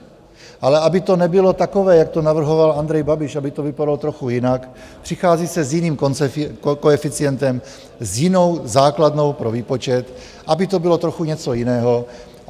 Ale aby to nebylo takové, jak to navrhoval Andrej Babiš, aby to vypadalo trochu jinak, přichází se s jiným koeficientem, s jinou základnou pro výpočet, aby to bylo trochu něco jiného.